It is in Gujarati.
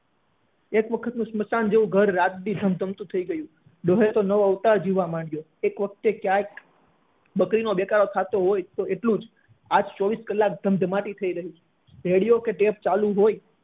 એક વખત સ્મસાન જેવું ઘર રાત દિવસ ધમ ધમતું થઇ ગયું ડોહા એ તો નવો અવતાર જીવા લાગ્યો એક વખતે ક્યાંક બકરી નો દેકારો થતો હોય એટલું આજ ચોવીસ કલાક ધમ ધમાતી થઇ રહી છે radio કે tap ચાલુ હોય